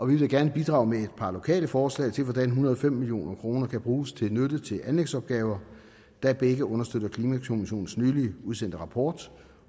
vil da gerne bidrage med et par lokale forslag til hvordan en hundrede og fem million kroner kan bruges til nytte til anlægsopgaver der begge understøtter klimakommissionens nylig udsendte rapport